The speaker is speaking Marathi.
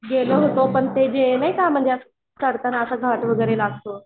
गेलो होतो पण ते नाही का म्हणजे असा घाट वगैरे लागतो